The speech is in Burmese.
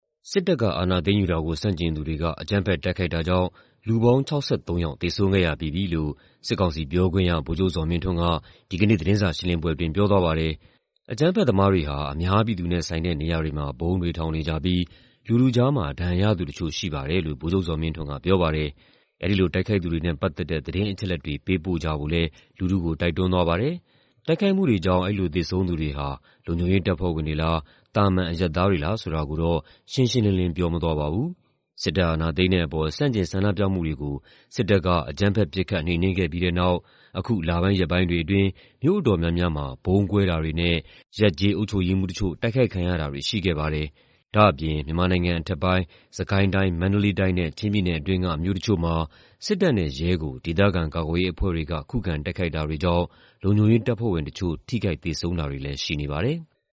စစ်တပ်က အာဏာသိမ်းယူတာကို ဆန့်ကျင်သူတွေက အကြမ်းဖက် တိုက်ခိုက်တာကြောင့် လူပေါင်း ၆၃ ယောက် သေဆုံးခဲ့ရပြီးပြီလို့ စစ်ကောင်စီပြောခွင့်ရ ဗိုလ်ချုပ်ဇော်မင်းထွန်းက ဒီနေ့ သတင်းစာရှင်းလင်းပွဲအတွင်း ပြောသွားပါတယ်။ "အကြမ်းဖက်သမားတွေဟာ အများပြည်သူနဲ့ဆိုင်တဲ့ နေရာတွေမှာ ဗုံးတွေထောင်နေကြပြီး လူထုကြားမှာ ဒဏ်ရာရသူတချို့ ရှိပါတယ်" လို့ ဗိုလ်ချုပ်ဇော်မင်းထွန်းက ပြောပါတယ်။ အဲဒီလို တိုက်ခိုက်သူတွေနဲ့ ပတ်သက်တဲ့ သတင်းအချက်အလက်တွေ ပေးပို့ကြဖို့လည်း လူထုကို တိုက်တွန်းသွားပါတယ်။ တိုက်ခိုက်မှုတွေကြောင့် အခုလို သေဆုံးတဲ့သူတွေဟာ လုံခြုံရေးတပ်ဖွဲ့ဝင်တွေလား၊ သာမန် အရပ်သားတွေလား ဆိုတာကို သဲသဲကွဲကွဲ ပြောဆိုသွားတာတော့ မရှိပါဘူး။ စစ်တပ်အာဏာသိမ်းတဲ့အပေါ် ဆန့်ကျင်ဆန္ဒပြမှုတွေကို စစ်တပ်က အကြမ်းဖက် ပစ်ခတ်နှိမ်နင်းခဲ့တဲ့နောက် အခုလပိုင်း ရက်ပိုင်းတွေအတွင်း မြို့အတော်များများမှာ ဗုံးကွဲတာတွေနဲ့ ရပ်ကျေးအုပ်ချုပ်ရေးမှူးတချို့ တိုက်ခိုက်ခံရတာတွေ ရှိခဲ့ပါတယ်။ ဒါ့အပြင် မြန်မာနိုင်ငံအထက်ပိုင်း စစ်ကိုင်းတိုင်း၊ မန္တလေးတိုင်း၊ ချင်းပြည်နယ်အတွင်း မြို့တချို့မှာ စစ်တပ်နဲ့ ရဲကို ဒေသခံ ကာကွယ်ရေးအဖွဲ့တွေက ခုခံတိုက်ခိုက်တာတွေကြောင့် လုံခြုံရေးတပ်ဖွဲ့ဝင်တချို့ သေဆုံးထိခိုက်တာတွေ ရှိနေပါတယ်။